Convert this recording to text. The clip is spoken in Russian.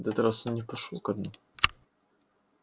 на этот раз он не пошёл ко дну